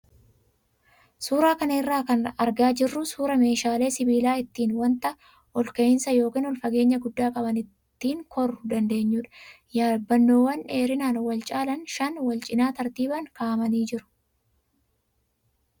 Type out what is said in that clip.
Suuraa kana irraa kan argaa jirru suuraa meeshaalee sibiilaa ittiin wanta ol ka'iinsa yookaan ol fageenya guddaa qaban ittiin koruu dandeenyu yaabbanoowwan dheerinaan wal caalan shan wal cinaa tartiibaan kaa'amanii jiru.